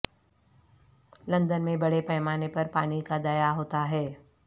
London میں بڑے پیمانے پر پانی کا ضیاع ہوتا ہے